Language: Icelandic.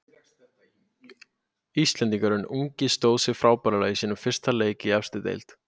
Íslendingurinn ungi stóð sig frábærlega í sínum fyrsta leik í efstu deild.